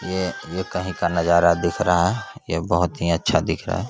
ये ये कही का नजारा दिख रहा है ये बहुत ही अच्छा दिख रहा है ।